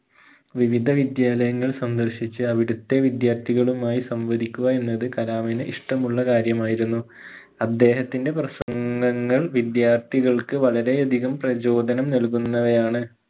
വിവിധ വിദ്യാലയങ്ങള്‍ സന്ദർശിച്ച് അവിടുത്തെ വിദ്യാർത്ഥികളുമായി സംവദിക്കുക എന്നത് കലാമിന് ഇഷ്ടമുള്ള കാര്യമായിരുന്നു അദ്ദേഹത്തിന്റെ പ്രസംഗങ്ങൾ വിദ്യാർത്ഥികൾക്ക് വളരെയധികം പ്രചോദനം നൽകുന്നവയാണ്